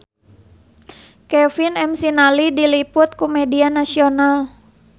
Kevin McNally diliput ku media nasional